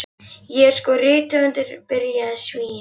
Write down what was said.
Ég er sko rithöfundur, byrjaði Svíinn.